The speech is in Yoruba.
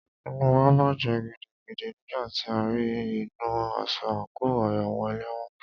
Inú wa bàjẹ́ gidigidi nígbà tí a rí í nínu aṣọ àńkò àwọn ẹlẹ́wọ̀n.